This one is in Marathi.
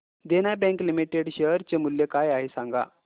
देना बँक लिमिटेड शेअर चे मूल्य काय आहे हे सांगा